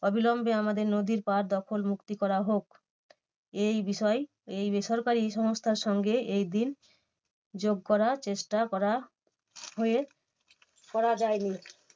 অবিলম্বে আমাদের নদীর পার দখল মুক্তি করা হোক। এই বিষয় এই বেসরকারি এই সংস্থার সঙ্গে এই দিন যোগ করা চেষ্টা করা হয়ে করা যায়নি।